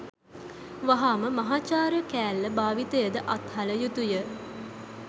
වහාම මහාචාර්ය කෑල්ල භාවිතය ද අත්හළ යුතුය